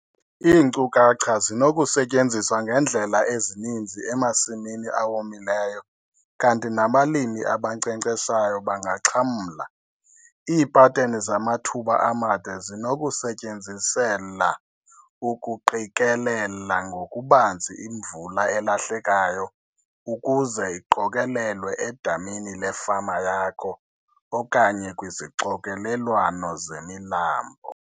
Iinkcukacha zinokusetyenziswa ngeendlela ezininzi emasimini awomileyo kanti nabalimi abankcenkceshayo bangaxhamla. Iipateni zamathuba amade zinokusetyenziselwa ukuqikelela ngokubanzi imvula elahlekayo ukuze iqokelelwe edamini lefama yakho okanye kwizixokelelwano zemilambo.